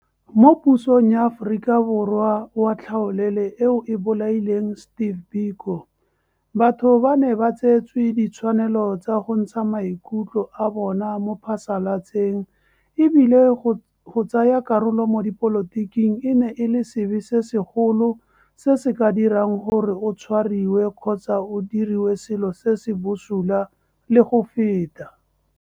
Mo pusong ya Aforika Borwa wa tlhaolele eo e bolaileng Steve Biko, batho ba ne ba tseetswe ditshwanelo tsa go ntsha maikutlo a bona mo phasalatseng e bile go tsaya karolo mo dipolotiking e ne e le sebe se sekgolo se se ka dirang gore o tshwariwe kgotsa o diriwe selo se se bosula le go feta.